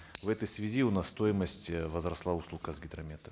в этой связи у нас стоимость э возросла услуг казгидромета